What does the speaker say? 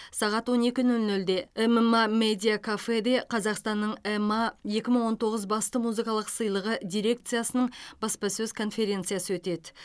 сағат он екі нөл нөлде эмыма медия кафеде қазақстанның ема екі мың он тоғыз басты музыкалық сыйлығы дирекциясының баспасөз конференциясы өтеді